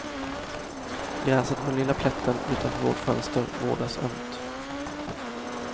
Gräset på den lilla plätten utanför vårt fönster vårdas ömt.